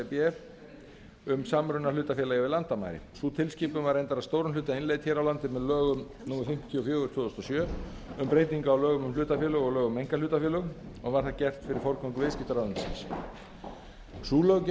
b um samruna hlutafélaga yfir landamæri sú tilskipun var reyndar að stórum hluta innleidd hér á landi með lögum númer fimmtíu og fjögur tvö þúsund og sjö um breytingu á lögum um hlutafélög og lögum um einkahlutafélög og var það gert fyrir forgöngu viðskiptaráðuneytisins sú löggjöf mælir